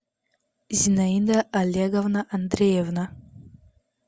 зинаида олеговна андреевна